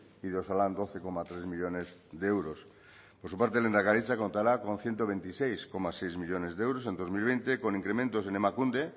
y de osalan doce coma tres millónes de euros por su parte lehendakaritza contará con ciento veintiséis coma seis millónes de euros en dos mil veinte con incrementos en emakunde